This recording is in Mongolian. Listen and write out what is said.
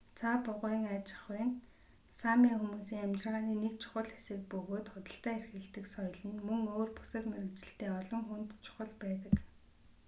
цаа бугын аж ахуй нь сами хүмүүсийн амьжиргааны нэг чухал хэсэг бөгөөд худалдаа эрхэлдэг соёл нь мөн өөр бусад мэргэжилтэй олон хүнд чухал байдаг